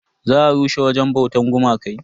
Za a rushe wajen bautan gumakai.